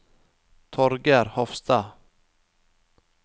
Torger Hofstad